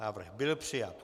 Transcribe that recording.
Návrh byl přijat.